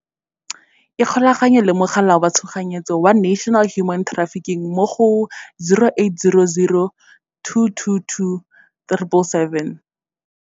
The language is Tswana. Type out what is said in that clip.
Ikgolaganye le Mogala wa Tshoganyetso wa National Human Trafficking mo go, 0800 222 777.